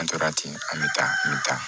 An tora ten an bɛ taa an bɛ taa